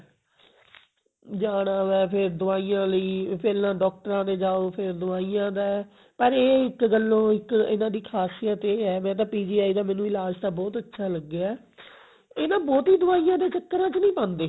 ਜਾਣਾ ਵੈ ਫੇਰ ਦਵਾਈਆਂ ਲਈ ਪਹਿਲਾਂ ਡਾਕਟਰਾਂ ਦੇ ਜਾਓ ਫੇਰ ਦਵਾਈਆਂ ਦਾ ਪਰ ਇੱਕ ਗੱਲੇ ਇੱਕ ਗੱਲੋ ਇਹਨਾਂ ਦੀ ਖ਼ਾਸੀਅਤ ਇਹ ਹੈ ਵੈਸੇ ਤਾਂ PGI ਦਾ ਇਲਾਜ਼ ਤਾਂ ਮੈਨੂੰ ਬਹੁਤ ਅੱਛਾ ਲੱਗਿਆ ਇਹ ਨਾ ਬਹੁਤੀ ਦਵਾਈਆਂ ਦੇ ਚਕਰਾਂ ਚ ਨਹੀਂ ਪਾਉਂਦੇ